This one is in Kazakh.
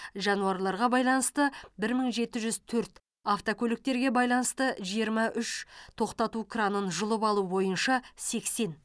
жануарларға байланысты бір мың жеті жүз төрт автокөліктерге байланысты жиырма үш тоқтату кранын жұлып алу бойынша сексен